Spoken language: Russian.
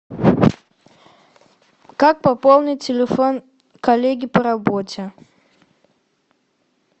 как пополнить телефон коллеги по работе